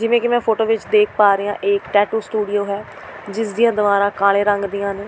ਜਿਵੇਂ ਕਿ ਮੈਂ ਫੋਟੋ ਵਿਚ ਦੇਖ ਪਾ ਰਹੀਂ ਹਾਂ ਇਹ ਇੱਕ ਟੈਟੂ ਸਟੂਡੀਓ ਹੈ ਜਿਸ ਦੀਆਂ ਦੀਵਾਰਾਂ ਕਾਲੇ ਰੰਗ ਦੀਆਂ ਨੇ।